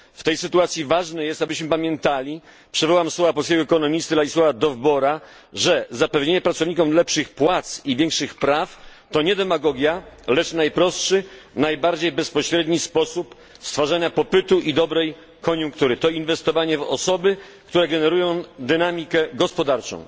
W tej sytuacji ważne jest, abyśmy pamiętali przywołam słowa polskiego ekonomisty Ladislaua Dowbora że zapewnienie pracownikom lepszych płac i większych praw to nie demagogia, lecz najprostszy, najbardziej bezpośredni sposób stwarzania popytu i dobrej koniunktury To inwestowanie w osoby, które generują dynamikę gospodarczą.